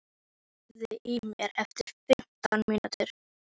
Sunniva, heyrðu í mér eftir fimmtán mínútur.